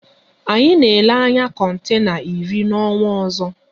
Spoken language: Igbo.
Anyị na ele anya kontena iri n'ọnwa ọzọ